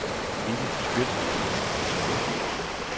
Vivi Skjødt